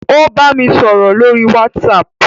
Ó bámi sọ̀rọ̀ lórí WhatsApp